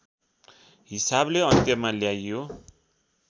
हिसाबले अन्त्यमा ल्याइयो